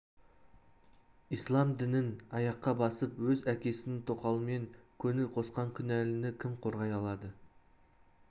ісләм дінін аяққа басып өз әкесінің тоқалымен көңіл қосқан күнәліні кім қорғай алады